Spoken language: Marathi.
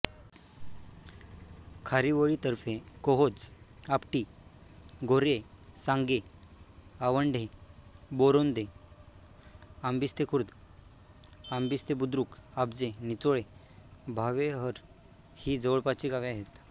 खारीवळीतर्फेकोहोज आपटी गोर्हे सांगे आवंढे बोरांदे आंबिस्तेखुर्द आंबिस्तेबुद्रुक आब्जे निचोळे भावेहर ही जवळपासची गावे आहेत